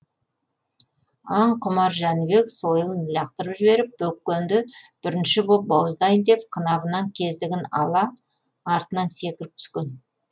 аң құмар жәнібек сойылын лақтырып жіберіп бөкенді бірінші боп бауыздайын деп қынабынан кездігін ала артына секіріп түскен